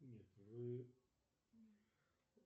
нет вы